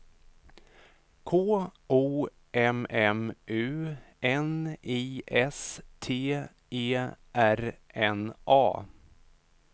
K O M M U N I S T E R N A